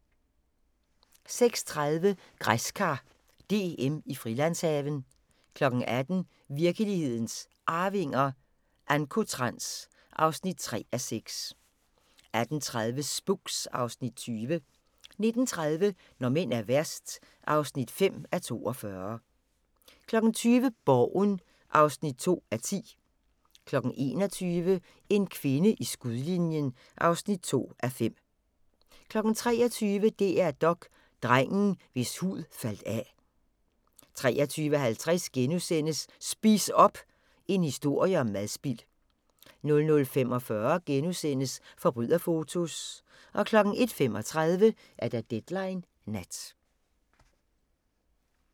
16:30: Græskar DM i Frilandshaven 18:00: Virkelighedens Arvinger: Ancotrans (3:6) 18:30: Spooks (Afs. 20) 19:30: Når mænd er værst (5:42) 20:00: Borgen (2:10) 21:00: En kvinde i skudlinjen (2:5) 23:00: DR3 Dok: Drengen, hvis hud faldt af 23:50: Spis op! – en historie om madspild * 00:45: Forbryderfotos * 01:35: Deadline Nat